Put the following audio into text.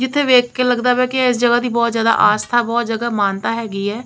ਜਿੱਥੇ ਵੇਖ ਕੇ ਲੱਗਦਾ ਪਿਆ ਕਿ ਇਸ ਜਗ੍ਹਾ ਦੀ ਬਹੁਤ ਜਿਆਦਾ ਆਸਤਾ ਬਹੁਤ ਜਗ੍ਹਾ ਮਾਨਤਾ ਹੈਗੀ ਹੈ।